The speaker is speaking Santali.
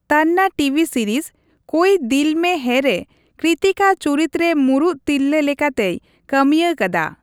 ᱛᱟᱱᱱᱟ ᱴᱤᱵᱤ ᱥᱤᱨᱤᱡᱽ ᱠᱳᱭ ᱫᱤᱞ ᱢᱮ ᱦᱮᱭᱼᱨᱮ ᱠᱨᱤᱛᱤᱠᱟ ᱪᱩᱨᱤᱛ ᱨᱮ ᱢᱩᱲᱩᱫ ᱛᱤᱨᱞᱟᱹ ᱞᱮᱠᱟᱛᱮᱭ ᱠᱟᱹᱢᱤᱭᱟ ᱠᱟᱫᱟ ᱾